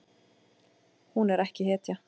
Hún er ekki hetja.